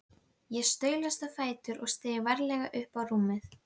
Ég staulaðist á fætur og steig varlega upp á rúmið.